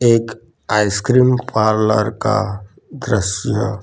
एक ice cream parlour का दृश्य--